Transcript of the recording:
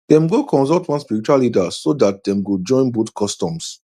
dem go consult one spiritual leader so that dem go join both customs